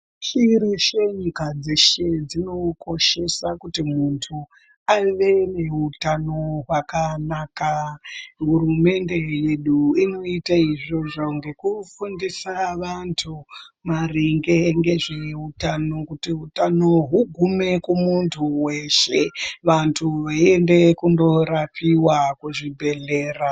Shirwshi nyika dzeshe dzinokoshesa kutu muntu ave neutano hwakanaka hurumende yedu inoite izvozvo ngekugundisa vantu maringe ngezveutano kuti utano hugume kumuntu weshe vantu veiende kundorapiwa kuzvibhedhlera.